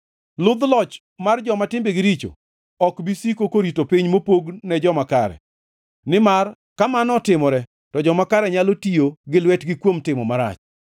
Ludh loch mar joma timbegi richo ok bi siko korito piny mopog ne joma kare, nimar ka mano otimore to joma kare nyalo tiyo gi lwetgi kuom timo marach.